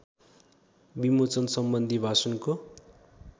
विमोचनसम्बन्धी भाषणको